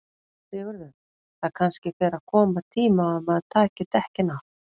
Sigurður: Það kannski fer að koma tími á að maður taki dekkin af?